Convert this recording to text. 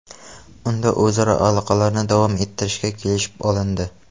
Unda o‘zaro aloqalarni davom ettirishga kelishib olindi.